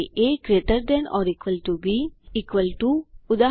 A gt B equal to ઉદા